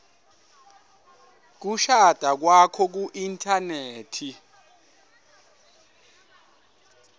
kushada kwakho kuinthanethi